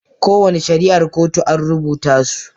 Kowane shari'ar kotu an rubuta su.